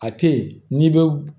A tɛ ye n'i bɛ